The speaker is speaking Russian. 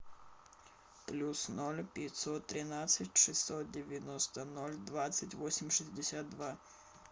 плюс ноль пятьсот тринадцать шестьсот девяносто ноль двадцать восемь шестьдесят два